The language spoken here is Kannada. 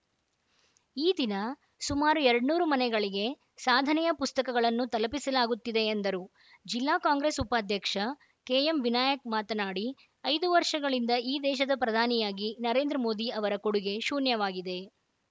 ಈ ದಿನ ಸುಮಾರು ಎರಡ್ ನೂರು ಮನೆಗಳಿಗೆ ಸಾಧನೆಯ ಪುಸ್ತಕಗಳನ್ನು ತಲುಪಿಸಲಾಗುತ್ತಿದೆ ಎಂದರು ಜಿಲ್ಲಾ ಕಾಂಗ್ರೆಸ್‌ ಉಪಾಧ್ಯಕ್ಷ ಕೆಎಂ ವಿನಾಯಕ್‌ ಮಾತನಾಡಿ ಐದು ವರ್ಷಗಳಿಂದ ಈ ದೇಶದ ಪ್ರಧಾನಿಯಾಗಿ ನರೇಂದ್ರ ಮೋದಿ ಅವರ ಕೊಡುಗೆ ಶೂನ್ಯವಾಗಿದೆ